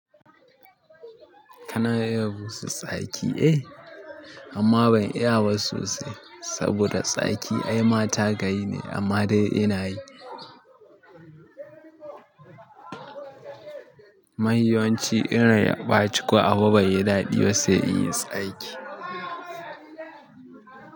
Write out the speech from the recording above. Kana iya busa tsaki? Eh, amma ban iya ba sosai saboda tsaki ai mata ka yi ne amma dai ina yi. Ma fi yawanci in rai ya ɓaci ko abu bai yi daɗi ba sai in yi tsaki.